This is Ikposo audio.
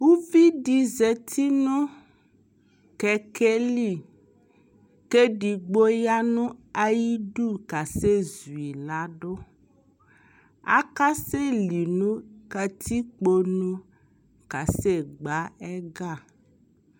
Uvidi zati nʋ kɛkɛli, k'edigbo ya nʋ ayidu k'asɛ zuyi ladʋ Akaseli nʋ katikpo nʋ k'asɛ gbǝ ɛga